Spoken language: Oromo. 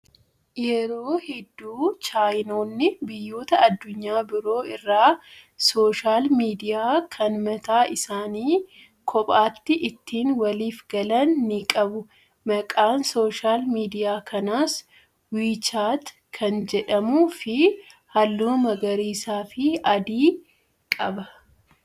Yeroo hedduu chaayinoonni biyyoota addunyaa biroo irraa sooshaal miidiyaa kan mataa isaanii kophaatti ittiin waliif galan ni qabu. Maqaan sooshaal miidiyaa kanaas "WeChat" kan jedhamuu fi halluu magariisaa fi adii qaba.